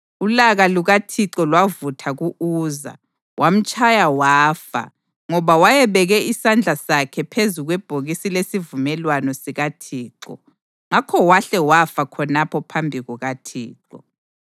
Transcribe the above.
Ulaka lukaThixo lwavutha ku-Uza, wamtshaya wafa ngoba wayebeke isandla sakhe phezu kwebhokisi lesivumelwano sikaThixo. Ngakho wahle wafa khonapho phambi kukaThixo.